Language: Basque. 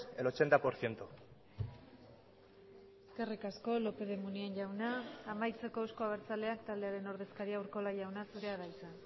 el ochenta por ciento eskerrik asko lópez de munain jauna amaitzeko euzko abertzaleak taldearen ordezkaria urkola jauna zurea da hitza